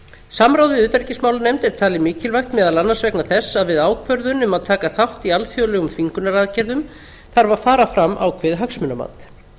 samráð við utanríkismálanefnd er talið mikilvægt meðal annars vegna þess að við ákvörðun um að taka þátt í alþjóðlegum þvingunaraðgerðum þarf að fara fram ákveðið hagsmunamat